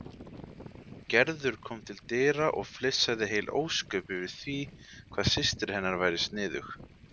Gerður kom til dyra og flissaði heil ósköp yfir því hvað systir hennar væri sniðug.